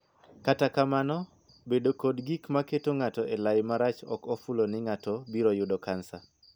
Kata kamano, bedo kod gik maketo ng'ato elai marach ok ofulo ni ng'ato biro yudo cancer.